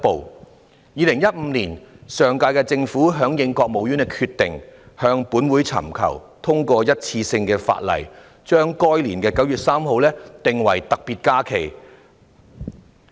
在2015年，上屆政府響應國務院的決定，向立法會尋求通過一次性的法例，把該年的9月3日訂為特別假期。